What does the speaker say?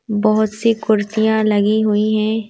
बहुत सी कुर्सियां लगी हुई है।